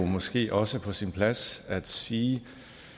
måske også på sin plads at sige